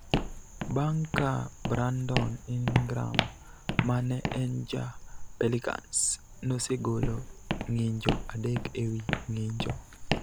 bang� ka Brandon Ingram ma ne en ja Pelicans nosegolo ng�injo adek e wi ng�injo.